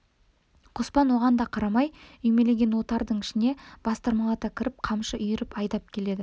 қоспан оған да қарамай үймелеген отардың ішіне бастырмалата кіріп қамшы үйіріп айдап келеді